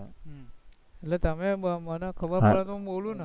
તમે મને ખબર પડે એટલે બોલું ને